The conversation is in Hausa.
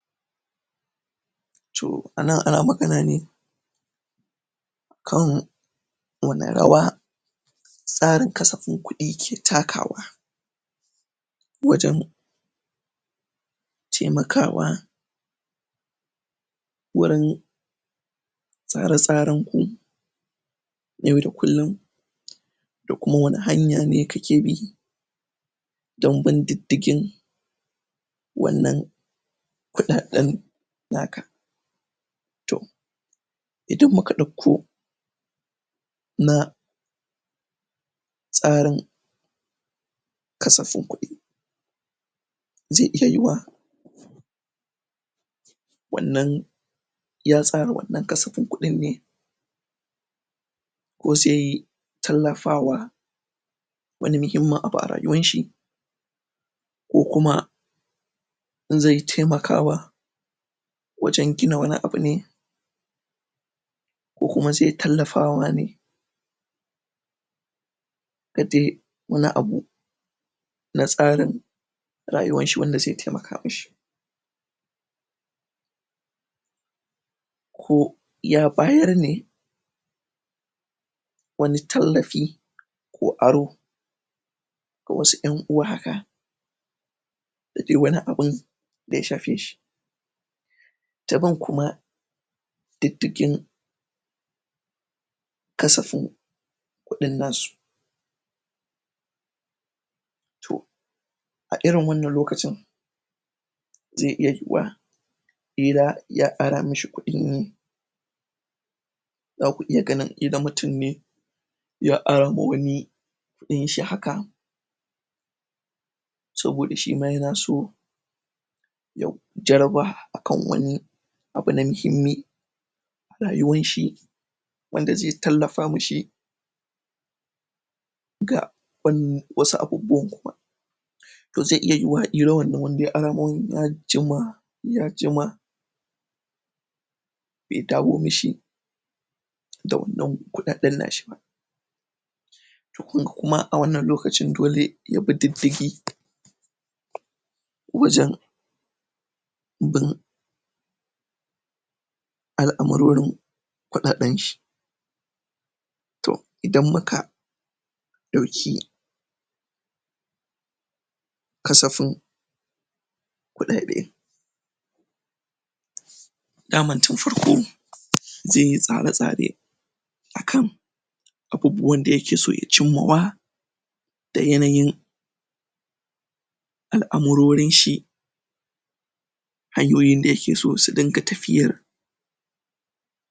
Toh! a nan ana magana ne kan wannan rawa tsarin kasafin kuɗi ke takawa wajen taimakawa wurin tsara-tsaren ku yau da kullin da kuma wani hanya ne kake bi don bin diddigin wannan kuɗaɗen naka Tohh! idan muka ɗakko na tsarin kasafin kuɗi zai iya yiyuwa wannan ya tsara wannan kasafin kuɗin ne ko sai tallafawa wani muhimmin abu a rayuwanshi ko kuma zai taimakawa wajen gina wani abune ko kuma zai tallafawa ne wani abu na tsarin rayuwanshi wanda zai taimaka mishi ko ya bayar ne wani tallafi ko aro ko wasu ƴan uwa haka da dai wani abin da ya shafe shi ta bin kuma diddigin kasafin kuɗin nasu toh! a irin wannan lokacin zai iya zuwa ƙila ya ara mishi kuɗi ne zaku iya ganin idan mutum ne ya ara ma wani kuɗin shi haka saboda shima yana so ya jaraba akan wani abu na mihimmi rayuwan shi wanda zai tallafa mishi ga wasu abubuwan kuma to zai iya yiyiwa ƙila wannan wanda ya ara ma wani ya jima ya jima bai dawo mishi da wannan kuɗaɗen nashi toh kunga kuma a wannan lokacin dole yabi diddigi wajen bin al'amurorin kuɗaɗen shi toh! idan muka ɗauki kasafin kuɗaɗe daman tun farko zaiyi tsara-tsare akan abubuwan da yake so ya cinma wa da yanayin al'amurorin shi hanyoyin da yake so su dinga tafiyar